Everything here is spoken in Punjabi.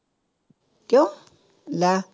ਕਿਉਂ ਲੈ